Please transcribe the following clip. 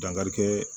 Dankarikɛ